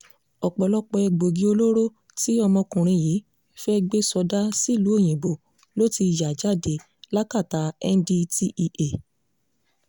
ọ̀pọ̀lọpọ̀ egbòogi olóró tí ọmọkùnrin yìí fẹ́ẹ́ gbé sọdá sílùú òyìnbó ló ti ya jáde látakà ndtea